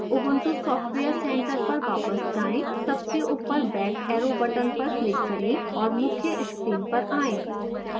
ubuntu software center पर वापस जाएं सबसे ऊपर back arrow बटन पर क्लिक करें और मुख्य स्क्रीन पर आएं